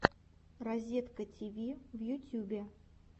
разеткативи в ютюбе